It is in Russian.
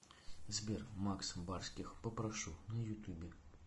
сбер макс барских попрошу на ютуб